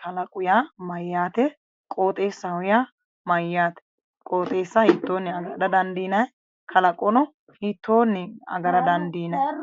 kalaqo yaa mayyaate? qooxeessaho yaa mayyaate? qooxeessa hiittonni agadha dandiinanni? hiittonnino agara dandiinanni?